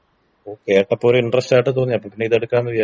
കേട്ടപ്പോ ഒരു ഇന്റെറെസ്റ്റായിട്ട് തോന്നി അപ്പൊ പിന്നെ ഇതെടുക്കാന്ന് വിചാരിച്ചു.